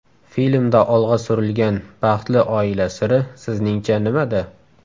Filmda olg‘a surilgan baxtli oila siri sizningcha nimada?